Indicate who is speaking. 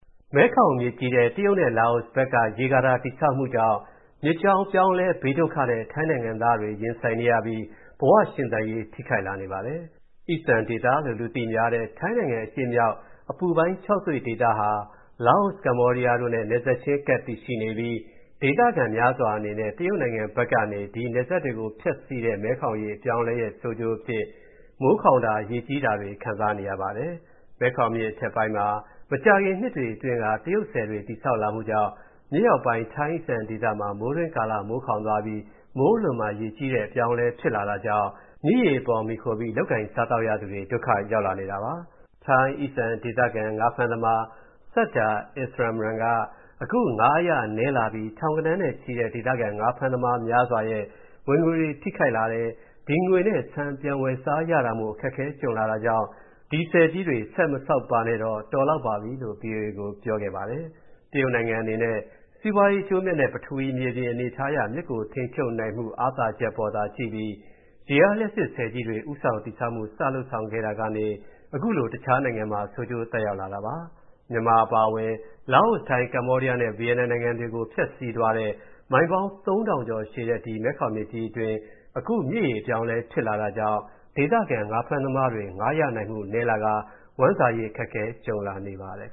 Speaker 1: မဲခေါင်မြစ်ကြီးထဲ တရုတ်နဲ့ လာအိုဘက်က ရေကာတာ တည်ဆောက်မှုကြောင့် မြစ်ကြောင်းအပြောင်းအလဲ ဘေးဒုက္ခနဲ့ ထိုင်းနိုင်ငံသားတွေ ရင်ဆိုင်နေရပြီး ဘဝရှင်သန်ရေး ထိခိုက်လာနေပါတယ်။ အိစံဒေသလို့ လူသိများတဲ့ ထိုင်းနိုင်ငံအရှေ့မြောက် အပူပိုင်း ခြောက်သွေ့ဒေသဟာ လာအို၊ ကမ္ဘောဒီးယားတို့နဲ့ နယ်စပ်ချင်းကပ် တည်ရှိနေပြီး ဒေသခံများစွာအနေနဲ့ တရုတ်နိုင်ငံဘက်ကနေ ဒီနယ်စပ်တွေကို ဖြတ်စီးတဲ့ မဲခေါင်မြစ်ရေ အပြောင်းအလဲရဲ့ ဆိုးကျိုးအဖြစ် မိုးခေါင်တာ၊ ရေကြီးတာတွေ ခံစားနေရပါတယ်။ မဲခေါင်မြစ်အထက်ပိုင်းမှာ မကြာခင်နှစ်တွေအတွင်းက တရုတ်ဆည်တွေ တည်ဆောက်လာမှုကြောင့် မြစ်အောက်ပိုင်း ထိုင်းအိစံဒေသမှာ မိုးတွင်းကာလ မိုးခေါင်သွားပြီး မိုးအလွန်မှာ ရေကြီးတဲ့ အပြောင်းအလဲ ဖြစ်လာတာကြောင့် မြစ်ရေအပေါ်မှီခိုပြီး လုပ်ကိုင်စားသောက်ရသူတွေ ဒုက္ခရောက်လာနေတာပါ။ ထိုင်း အိစံဒေသခံ ငါးဖမ်းသမား Sudta Insamran က အခု ငါးအရနည်းလာပြီး ထောင်ဂဏန်းနဲ့ချီတဲ့ ဒေသခံ ငါးဖမ်းသမားများစွာရဲ့ ဝင်ငွေ ထိခိုက်လာတယ်၊ ဒီငွေနဲ့ ဆန်ပြန်ဝယ်စားရတာမို့ အခက်အခဲ ကြုံလာတာကြောင့် ဒီဆည်ကြီးတွေ ဆက်မဆောက်ပါနဲ့တော့၊ တော်လောက်ပါပြီလို့ ဗွီအိုအေကို ပြောပါတယ်။ တရုတ်နိုင်ငံအနေနဲ့ စီးပွားရေး အကျိုးအမြတ်နဲ့ ပထဝီ မြေပြင်အနေအထားအရ မြစ်ကိုထိန်းချုပ်နိုင်မှု အားသာချက်အပေါ်သာကြည့်ပြီး ရေအားလျှပ်စစ်ဆည်ကြီးတွေ ဦးဆောင်တည်ဆောက်မှု စလုပ်ဆောင်လာခဲ့တာကနေ အခုလို တခြားနိုင်ငံမှာ ဆိုးကျိုးသက်ရောက်လာတာပါ။ မြန်မာအပါအဝင် လာအို၊ ထိုင်း၊ ကမ္ဘောဒီးယားနဲ့ ဗီယက်နမ်နိုင်ငံတွေကို ဖြတ်စီးသွားတဲ့ မိုင်ပေါင်း ၃,၀၀၀ ကျော်ရှည်တဲ့ ဒီမဲခေါင်မြစ်ကြီးအတွင်း အခု မြစ်ရေအပြောင်းအလဲ ဖြစ်လာတာကြောင့် ဒေသခံ ငါးဖမ်းသမားတွေအတွက် ငါးရရှိနိုင်မှု နည်းပါးလာကာ ဝမ်းစာရေး အခက်ကြုံလာနေပါတယ်